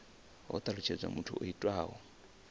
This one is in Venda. ho talutshedzwa muthu o itaho